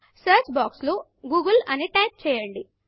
search box లో Google అని type చేయండి